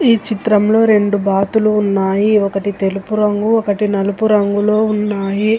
ఈ చిత్రంలో రెండు బాతులు ఉన్నాయి ఒకటి తెలుపు రంగు ఒకటి నలుపు రంగులో ఉన్నాయి.